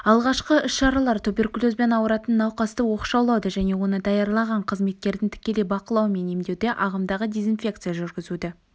алғашқы іс-шаралар туберкулезбен ауыратын науқасты оқшаулауды және оны даярланған қызметкердің тікелей бақылауымен емдеуді ағымдағы дезинфекция жүргізуді